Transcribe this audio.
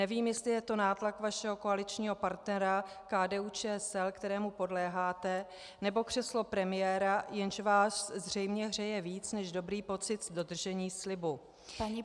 Nevím, jestli je to nátlak vašeho koaličního partnera KDU-ČSL, kterému podléháte, nebo křeslo premiéra, jež vás zřejmě hřeje víc než dobrý pocit z dodržení slibu.